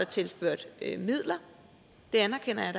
tilført midler det anerkender jeg